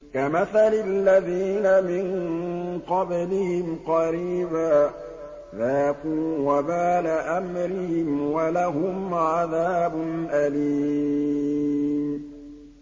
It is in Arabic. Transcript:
كَمَثَلِ الَّذِينَ مِن قَبْلِهِمْ قَرِيبًا ۖ ذَاقُوا وَبَالَ أَمْرِهِمْ وَلَهُمْ عَذَابٌ أَلِيمٌ